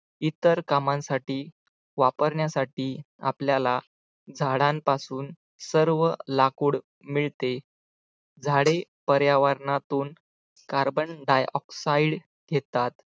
इतर कामांसाठी वापरण्यासाठी आपल्याला झाडांपासून सर्व लाकूड मिळते झाडे पर्यावरणातून carbon dioxide घेतात